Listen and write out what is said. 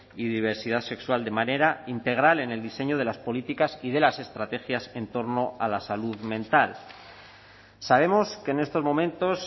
y diversidad sexual de manera integral en el diseño de las políticas y de las estrategias en torno a la salud mental sabemos que en estos momentos